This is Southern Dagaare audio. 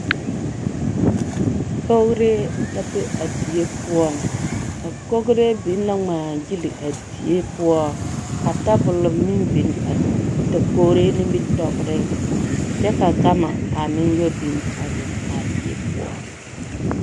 Kogree la be biŋ a die poɔ Kogree ŋmaagili la a die poɔ ka tabol meŋ biŋ a dakogri nimitɔɔreŋ kyɛ ka gama a meŋ tɔ biŋ a biŋ a die poɔ.